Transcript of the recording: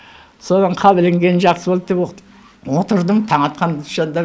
содан қап ілінгенім жақсы болды деп отырдым таң атқанша да